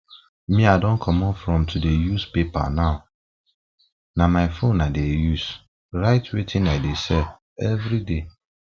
me i don comot from to dey use paper now na my phone i dey use write wetin i dey sell everyday